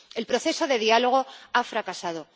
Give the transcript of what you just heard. El proceso de diálogo ha fracasado.